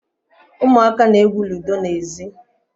Umuaka na-egwu ludo na ezi